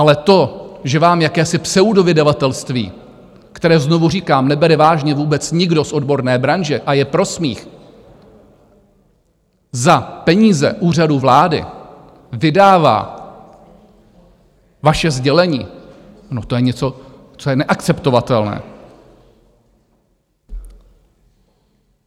Ale to, že vám jakési pseudovydavatelství, které znovu říkám, nebere vážně vůbec nikdo z odborné branže a je pro smích, za peníze Úřadu vlády vydává vaše sdělení, to je něco, co je neakceptovatelné.